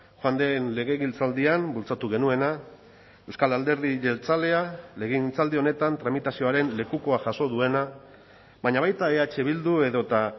joan den legegintzaldian bultzatu genuena euskal alderdi jeltzalea legegintzaldi honetan tramitazioaren lekukoa jaso duena baina baita eh bildu edota